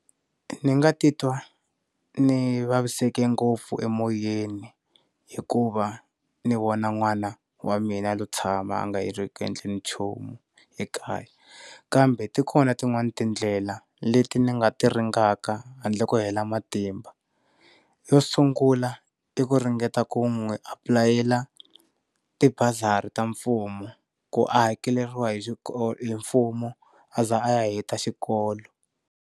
Ndzi nga titwa ndzi vaviseke ngopfu emoyeni hikuva ndzi vona n'wana wa mina a lo tshama a nga ri ku endleni nchumu ekaya kambe ti kona tin'wana tindlela leti ndzi nga ti ringaka handle ko hela matimba. Yo sungula i ku ringeta ku n'wi aply-ela ti bazari ta mfumo ku a hakeleriwa hi xikolo hi mfumo a za a ya heta xikolo.